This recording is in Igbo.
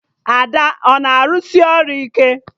Ada a na-arụsị ọrụ ike?